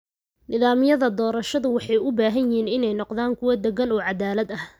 Nidaamyada doorashadu waxay u baahan yihiin inay noqdaan kuwo deggan oo caddaalad ah.